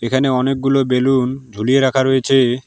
এখানে অনেকগুলো বেলুন ঝুলিয়ে রাখা হয়েছে।